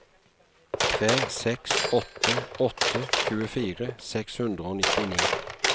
tre seks åtte åtte tjuefire seks hundre og nittini